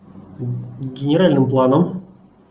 генеральным планом